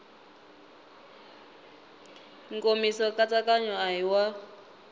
nkomiso nkatsakanyo a hi wa